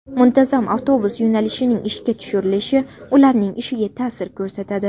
Muntazam avtobus yo‘nalishining ishga tushirilishi ularning ishiga ta’sir ko‘rsatadi.